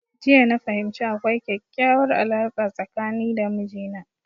Jiya na fahimci akwai kekyauwar alarka tsakani da mijina